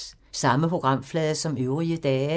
Samme programflade som øvrige dage